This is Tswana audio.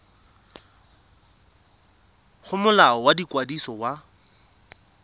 go molao wa ikwadiso wa